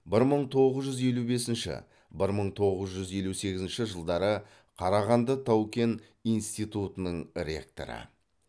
бір мың тоғыз жүз елу бесінші бір мың тоғыз жүз елу сегізінші жылдары қарағанды тау кен институтының ректоры